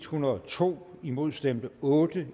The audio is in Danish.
hundrede og to imod stemte otte